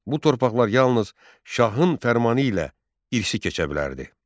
Bu torpaqlar yalnız şahın fərmanı ilə irsi keçə bilərdi.